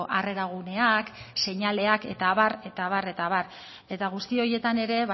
harrera guneak seinaleak eta abar eta abar eta abar eta guzti horietan ere